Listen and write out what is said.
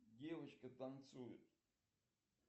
девочка танцует